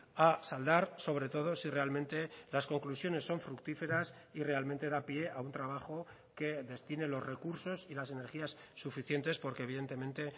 a saldar sobre todo si realmente las conclusiones son fructíferas y realmente da pie a un trabajo que destine los recursos y las energías suficientes porque evidentemente